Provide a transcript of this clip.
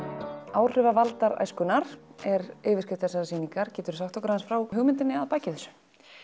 áhrifavaldar æskunnar er yfirskrift þessarar sýningar geturðu sagt okkur aðeins frá hugmyndinni að baki þessu